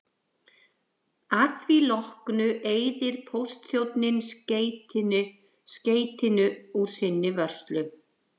Að því loknu eyðir póstþjónninn skeytinu úr sinni vörslu.